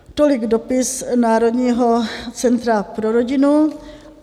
Tolik dopis Národního centra pro rodinu.